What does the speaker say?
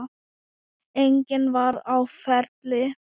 Enginn var á ferli.